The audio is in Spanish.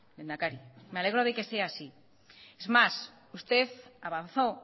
lehendakari me alegro de que sea así es más usted avanzó